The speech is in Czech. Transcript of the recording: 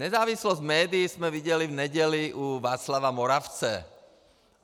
Nezávislost médií jsme viděli v neděli u Václava Moravce.